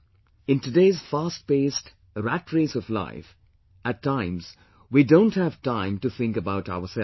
In today's fast paced, rat race of life, at times we don't have time to think about ourselves